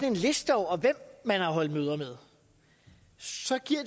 en liste over hvem man har holdt møder med så giver